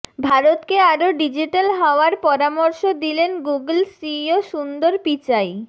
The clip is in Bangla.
ভারতকে আরও ডিজিটাল হওয়ার পরামর্শ দিলেন গুগল সিইও সুন্দর পিচাই